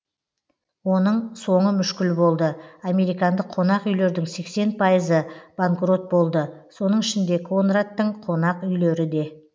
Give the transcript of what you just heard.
оның соңы мүшкіл болды американдық қонақ үйлердің сексен пайызы банкрот болды соның ішінде конрадтың конақ үйлері де